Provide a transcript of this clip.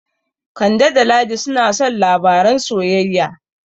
Kande da Ladi suna son labaran soyayya.